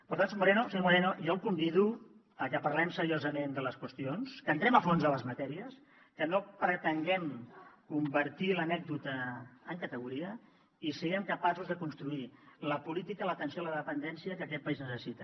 per tant senyor moreno jo el convido a que parlem seriosament de les qüestions que entrem a fons a les matèries que no pretenguem convertir l’anècdota en categoria i siguem capaços de construir la política i l’atenció a la dependència que aquest país necessita